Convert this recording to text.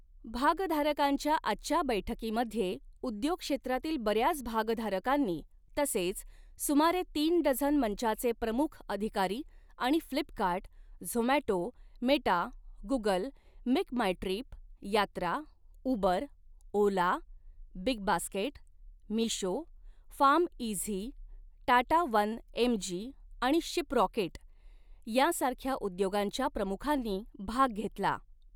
भागधारकांच्या आजच्या बैठकीमध्ये उद्योग क्षेत्रातील बऱ्याच भागधारकांनी तसेच सुमारे तीन डझन मंचाचे प्रमुख अधिकारी आणि Flipkart, Zomato, Meta, Google, MakeMyTrip, Yatra, Uber, Ola, BigBasket, Meesho, PharmEasy, Tata one MG आणि शिपरॉकेट यांसारख्या उद्योगांच्या प्रमुखांनी भाग घेतला.